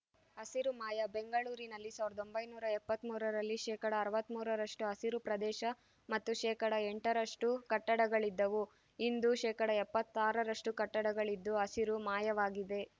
ಹಸಿರು ಮಾಯ ಬೆಂಗಳೂರಿನಲ್ಲಿ ಸಾವಿರದ ಒಂಬೈನೂರ ಎಪ್ಪತ್ತ್ ಮೂರರಲ್ಲಿ ಶೇಕಡಾ ಅರವತ್ತ್ ಮೂರರಷ್ಟುಹಸಿರು ಪ್ರದೇಶ ಮತ್ತು ಶೇಕಡಾ ಎಂಟರಷ್ಟುಕಟ್ಟಡಗಳಿದ್ದವು ಇಂದು ಶೇಕಡಾ ಎಪ್ಪತ್ತಾರರಷ್ಟುಕಟ್ಟಡಗಳಿದ್ದು ಹಸಿರು ಮಾಯವಾಗಿದೆ